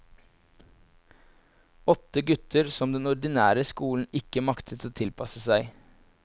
Åtte gutter som den ordinære skolen ikke maktet å tilpasse seg.